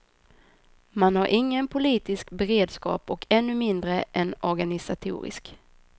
Man har ingen politisk beredskap och ännu mindre en organisatorisk.